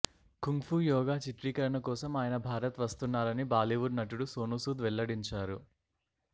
kung ఫూ yoga చిత్రీకరణ కోసం అయన భారత్ వస్తున్నారని బాలీవుడ్ నటుడు సోనూసూద్ వెల్లడించారు